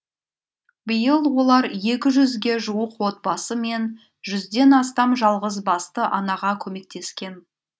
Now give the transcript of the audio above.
биыл олар екі жүзге жуық отбасы мен жүзден астам жалғызбасты анаға көмектескен